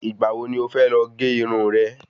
Ìgbà wo ni o fẹ lọ gé Irun rè?